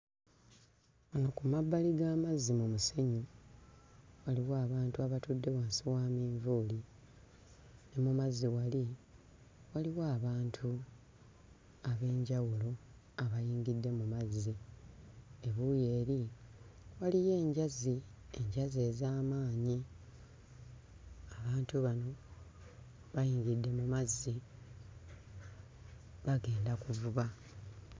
Wano ku mabbali g'amazzi mmusenyu waliwo abantu abatudde wansi wa manvuuli ne mu mazzi wali waliwo abantu ab'enjawulo abayingidde mu mazzi. Ebuuyi eri waliyo enjazi, enjazi ez'amaanyi. Abantu bano bayimiridde mu mazzi bagenda kuvuba.